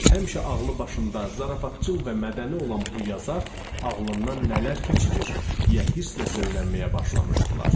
Həmişə ağlı başında, zarafatcıl və mədəni olan bu yazar ağlından nələr keçirir, deyə hırsla söylənməyə başlamışdılar.